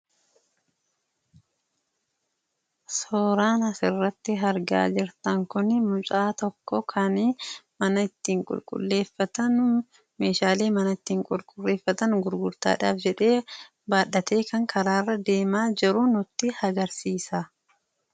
Suuraan asirratti argaa jirtan Kun mucaa tokko kan mana ittiin qulqulleeffatan, Meeshaalee mana ittiin qulqulleeffatan gururtaadhaaf jedhee baattatee kan karaa irra deemaa jiru nutti agarsiisa.